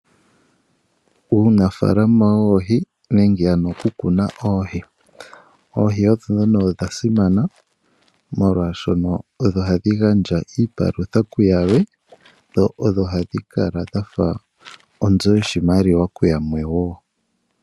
Uunafaalama woohi nenge ano okukuna oohi. Oohi odho ndhono dha simana, molwaashono ohadhi gandja iipalutha kuyamwe, dho ohadhi kala dha fa onzo yoshimaliwa kuyalwe wo.